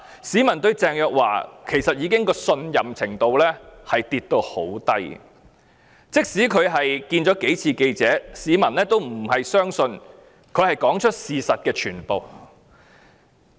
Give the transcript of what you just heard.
市民對鄭若驊的信任程度非常低，即使她幾次接受記者查詢，市民都不信她已說出事實的全部。